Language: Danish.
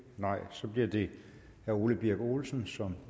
så bliver det herre ole birk olesen som